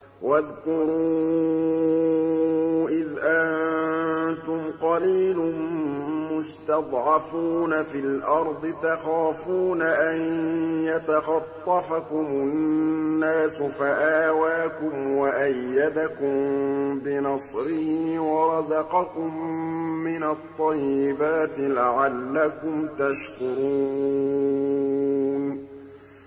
وَاذْكُرُوا إِذْ أَنتُمْ قَلِيلٌ مُّسْتَضْعَفُونَ فِي الْأَرْضِ تَخَافُونَ أَن يَتَخَطَّفَكُمُ النَّاسُ فَآوَاكُمْ وَأَيَّدَكُم بِنَصْرِهِ وَرَزَقَكُم مِّنَ الطَّيِّبَاتِ لَعَلَّكُمْ تَشْكُرُونَ